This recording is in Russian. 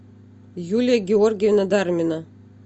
юлия георгиевна дармина